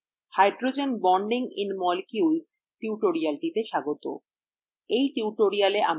নমস্কার! hydrogen bonding in molecules টিউটোরিয়ালটিতে স্বাগত